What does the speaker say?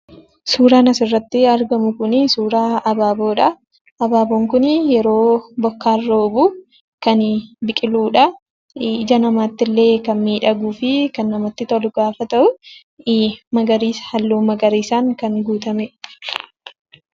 Suuraan asirratti argamu kun suuraa abaaboodha. Abaaboon kun yeroo bokkaan roobu kan biqiludha. Ija namaattillee kan miidhaguu fi kan namatti tolu gaafa ta'u, halluu magariisaan kan guutamedha.